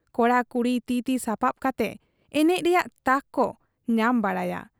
ᱠᱚᱲᱟ ᱠᱩᱲᱤ ᱛᱤ ᱛᱤ ᱥᱟᱯᱟᱵ ᱠᱟᱛᱮ ᱮᱱᱮᱡ ᱨᱮᱭᱟᱜ ᱛᱟᱠ ᱠᱚ ᱧᱟᱢ ᱵᱟᱲᱟᱭᱟ ᱾